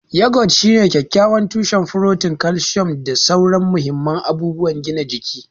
Yogurt shine kyakkyawan tushen furotin, kalcium, da sauran mahimman abubuwan gina jiki.